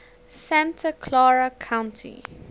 santa clara county